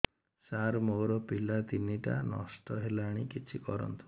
ସାର ମୋର ପିଲା ତିନିଟା ନଷ୍ଟ ହେଲାଣି କିଛି କରନ୍ତୁ